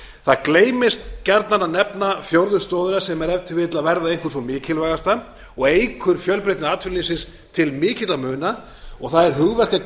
það gleymist gjarnan að nefna fjórðu stoðina sem er ef til vill að verða einhver sú mikilvægasta og eykur fjölbreytni atvinnulífsins til mikilla muna og það er